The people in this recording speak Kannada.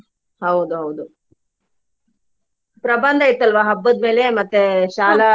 ಹೌದ ಹೌದು ಪ್ರಬಂಧ ಇತ್ತ್ ಅಲ್ವಾ ಹಬ್ಬದ್ಮೇಲೆ ಮತ್ತೆ ಶಾಲಾ.